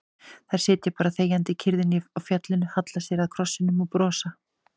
Þær sitja bara þegjandi í kyrrðinni á fjallinu, halla sér að krossinum og brosa.